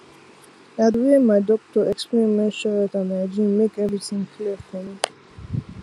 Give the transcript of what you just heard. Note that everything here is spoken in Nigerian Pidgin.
na the way my doctor explain menstrual health and hygiene make everything clear for me